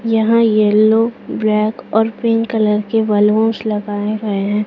यहां yellow black और pink colour के बलूंस लगाए गए है।